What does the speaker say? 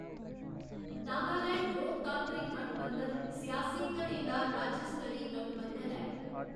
नागालैंड लोकतांत्रिक गंढ बंधन सियासी धड़ें दा राज्य स्तरी गंढ बंधन ऐ।